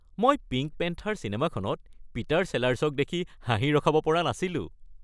মই pink panther চিনেমাখনত Peter চেলাৰ্ছক দেখি হাঁহি ৰখাব পৰা নাছিলোঁ।